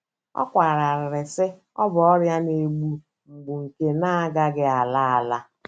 Ọ kwara arịrị, sị, Ọ bụ ọrịa na - egbu mgbu nke na - agaghị ala ala.